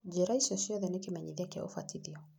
Njĩra icio ciothe nĩ kĩmenyitia kĩa ũbatithio.